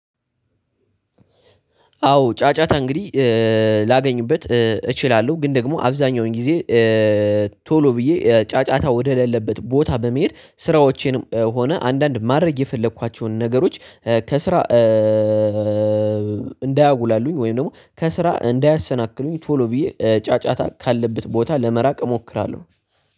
አዎ ጫጫታ እንግዲህ ላገኝበት እችላለሁ ግን ደግሞ አብዛኛውን ጊዜ ቶሎ ብዬ ጫጫታ ወደሌለበት ቦታ በመሄድ ስራዎቼንም ሆነ አንዳንድ ማድረግ የፈለኳቸውን ነገሮች ከስራ እንዳያጉላሉኝ ወይም ደግሞ ከስራ እንዳያሰናክሉኝ ቶሎ ብዬ ጫጫታ ካለበት ቦታ ለመራቅ እሞክራለሁ።